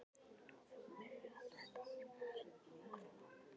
Nóvember er alls staðar langur mánuður.